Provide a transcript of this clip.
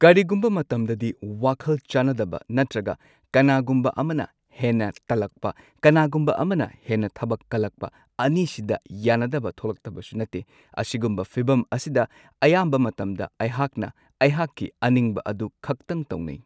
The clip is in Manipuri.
ꯀꯔꯤꯒꯨꯝꯕ ꯃꯇꯝꯗꯗꯤ ꯋꯥꯈꯜ ꯆꯥꯟꯅꯗꯕ ꯅꯠꯇ꯭ꯔꯒ ꯀꯅꯥꯒꯨꯝꯕ ꯑꯃꯅ ꯍꯦꯟꯅ ꯇꯜꯂꯛꯄ ꯀꯅꯥꯒꯨꯝꯕ ꯑꯃꯅ ꯍꯦꯟꯅ ꯊꯕꯛ ꯀꯜꯂꯛꯄ ꯑꯅꯤꯁꯤꯗ ꯌꯥꯅꯗꯕ ꯊꯣꯛꯂꯛꯇꯕꯁꯨ ꯅꯠꯇꯦ꯫ ꯑꯁꯤꯒꯨꯝꯕ ꯐꯤꯕꯝ ꯑꯁꯤꯗ ꯑꯌꯥꯝꯕ ꯃꯇꯝꯗ ꯑꯩꯍꯥꯛꯅ ꯑꯩꯍꯥꯛꯀꯤ ꯑꯅꯤꯡꯕ ꯑꯗꯨ ꯈꯛꯇꯪ ꯇꯧꯅꯩ꯫